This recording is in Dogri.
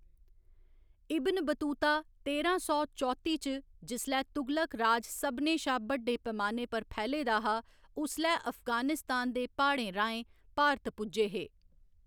इब्न बतूता तेरां सौ चौत्ती च जिसलै तुगलक राज सभनें शा बड्डे पैमाने पर फैले दा हा, उसलै अफगानिस्तान दे प्हाड़ें राहें भारत पुज्जे हे।